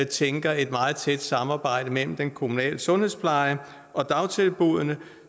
tænker et meget tæt samarbejde mellem den kommunale sundhedspleje og dagtilbuddene